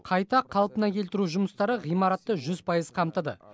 қайта қалпына келтіру жұмыстары ғимаратты жүз пайыз қамтыды